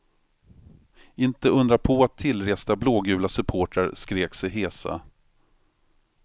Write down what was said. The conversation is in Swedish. Inte undra på att tillresta blågula supportrar skrek sig hesa.